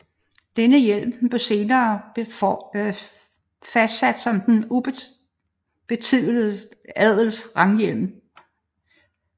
Denne hjelm bliver senere fastsat som den ubetitledes adels ranghjelm